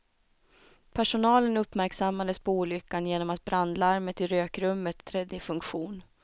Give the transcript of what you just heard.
Personalen uppmärksammades på olyckan genom att brandlarmet i rökrummet trädde i funktion.